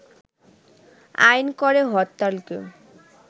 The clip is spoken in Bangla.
আইন করে হরতালকে